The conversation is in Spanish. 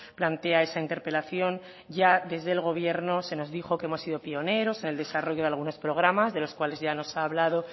plantea esa interpelación ya desde el gobierno se nos dijo que hemos sido pioneros en el desarrollo de algunos programas de los cuales ya nos ha hablado